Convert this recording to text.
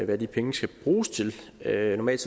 hvad de penge skal bruges til normalt